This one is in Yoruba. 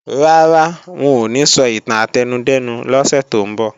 Rárá, wọn ò ní sọ ìtàn átẹnudẹ́nu lọ́sẹ̀ tó ń bọ̀